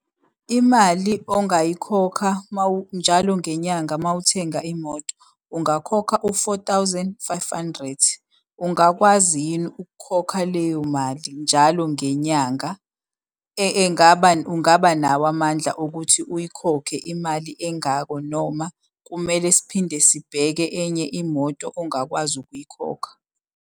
Imali ongayikhokha njalo ngenyanga uma uthenga imoto, ungakhokha u-four thousand five hundred. Ungakwazi yini ukukhokha leyo mali njalo ngenyanga? Ungabanawo amandla okuthi uyikhokhe imali engako noma kumele siphinde sibheke enye imoto ongakwazi ukuyikhokha?